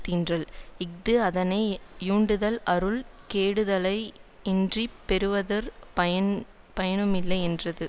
தீன்றல் இஃது அதனை யுண்டதால் அருள் கெடுதலேயன்றிப் பெறுவதொரு பயன் பயனுமில்லை என்றது